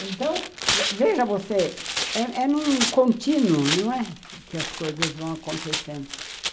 Então, veja você, é num contínuo, não é, que as coisas vão acontecendo.